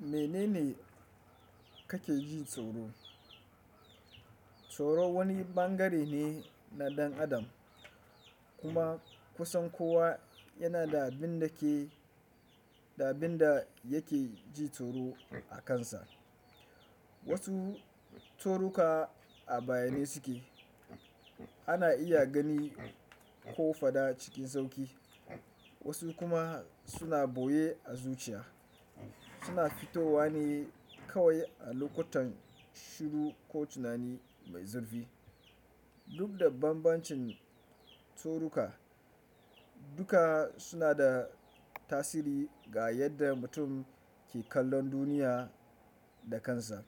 Mene ne kake ji tsoro? Tsoro wani ɓangare ne na ɗan adam kuma kusan kowa yanada abin da ke da abinda yake jin tsoro akan sa wasu toruka a bayyane suke, ana iya gani ko fada cikin sauƙi, wasu kuma suna ɓoye a zuciya, suna fitowa ne kawai a lokutan shiru ko tunani mai zurfi. Duk da bambancin tsoruka, duka suna da tasiri ga yadda mutum ke kallon duniya da kansa.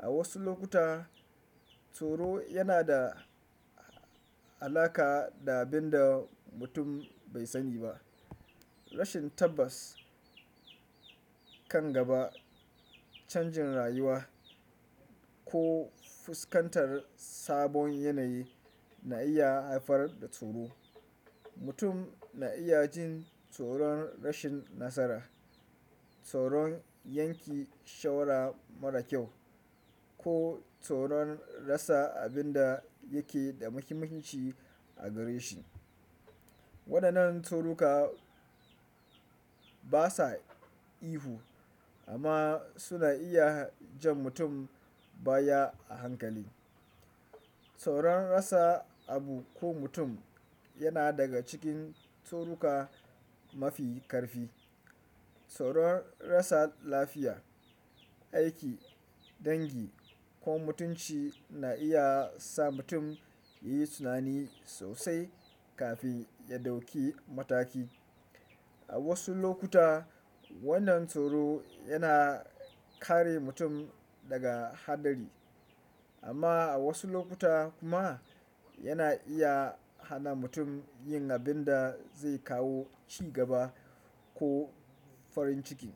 A wasu lokuta, tsoro yana da alaƙa da abin da mutum bai sani ba. Rashin tabbas kan gaba, canjin rayuwa, ko fuskantar sabon yanayi na iya haifar da tsoro. Mutum na iya jin tsoron rashin nasara, tsoron yanke shawara marar kyau, ko tsoron rasa abin da yake da muhimmanci a gare shi. Waɗannan tsoruka basa ihu amma suna iya jan mutum baya a hankali. Tsoron rasa abu ko mutum yana daga cikin tsoruka mafi karfi. Tsoron rasa lafiya aiki dangi ko mutunci na iya sa mutum yayi tunani sosai kafin ya ɗauki mataki A wasu lokuta, wannan tsoro yana kare mutum daga haɗari amma a wasu lokuta kuma yana iya hana mutum yin abin da zai kawo cigaba ko farin ciki.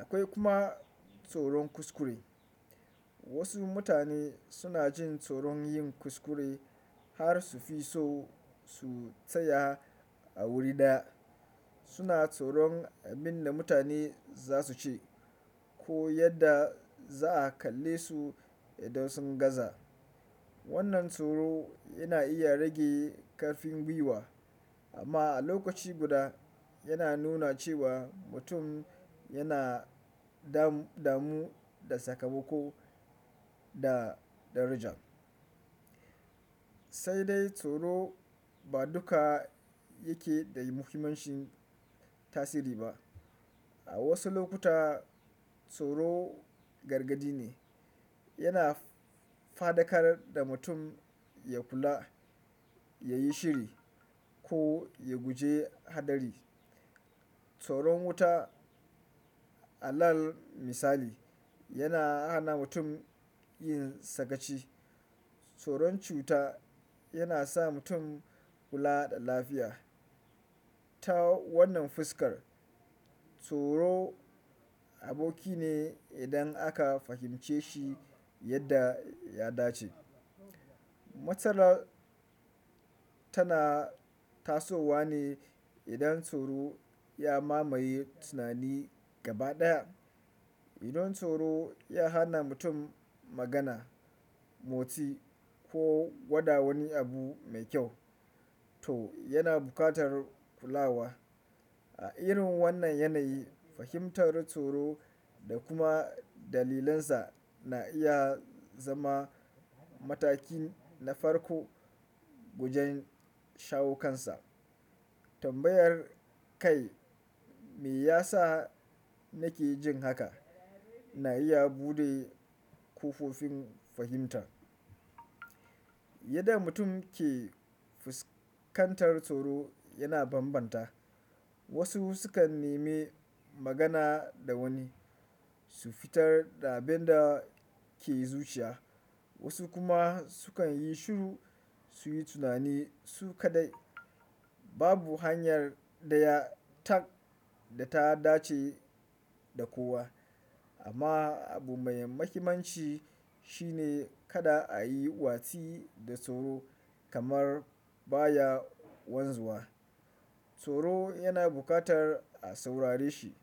Akwai kuma tsoron kuskure. Wasu mutane suna jin tsoron yin kuskure har su fi so su tsaya a wuri daya. Suna tsoron abin da mutane za su ce ko yadda za a kalle su idan sun gaza. Wannan tsoro yana iya rage ƙarfin gwiwa amma a lokaci guda yana nuna cewa mutum yana damu da sakamako da daraja. Sai dai tsoro ba duka yake da muhimman tasiri ba. A wasu lokuta, tsoro gargadi ne, yana fadakar da mutum ya kula, ya yi shiri ko ya guje haɗari. Tsoron wuta alal misali yana hana mutum yin sakaci. Tsoron cuta yana sa mutum kula da lafiya. Ta wannan fuskar, tsoro aboki ne idan aka fahimce shi yadda ya dace. Matsala tana tasowa ne idan tsoro ya mamaye tunani gaba ɗaya. Idan tsoro ya hana mutum magana, motsi ko gwada wani abu mai kyau, to yana buƙatar kulawa. A irin wannan yanayi, fahimtar tsoro da kuma dalilansa na iya zama mataki na farko wajen shawo kansa. Tambayar kai, "Me yasa nake jin haka?" na iya buɗe kofofin fahimta. Yadda mutum ke fuskantar tsoro yana bambanta. Wasu sukan neme magana da wani, su fitar da abin da ke zuciya, wasu kuma sukan yi shiru su yi tunani su kadai. Babu hanyar ɗaya tak da ta dace da kowa amma abu mai muhimmanci shine kada a yi watsi da tsoro kamar baya wanzuwa. Tsoro yana buƙatar a saurare shi.